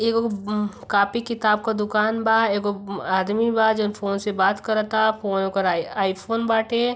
एगो ब कॉपी किताब क दुकान बा। एगो आदमी बा जौन फ़ोन से बात करता। फ़ोन ओकर आई आईफोन बाटे।